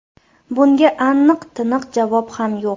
Bunga aniq-tiniq javob ham yo‘q.